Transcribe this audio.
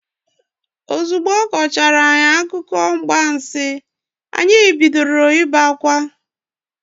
Ozugbo ọ kọchaara anyị akụkọ mgbansi, anyị bidoro ibe akwa.